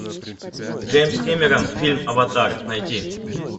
джеймс кэмерон фильм аватар найти